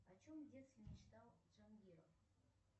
о чем в детстве мечтал джангиров